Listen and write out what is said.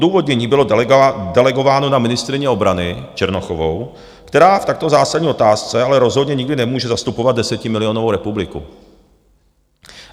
Odůvodnění bylo delegováno na ministryni obrany Černochovou, která v takto zásadní otázce ale rozhodně nikdy nemůže zastupovat desetimilionovou republiku.